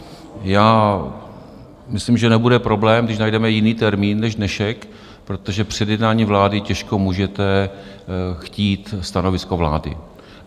Já myslím, že nebude problém, když najdeme jiný termín než dnešek, protože před jednáním vlády těžko můžete chtít stanovisko vlády.